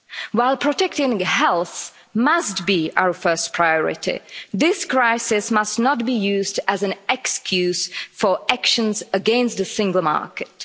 While protecting health must be our first priority, this crisis must not be used as an excuse for actions against the single market.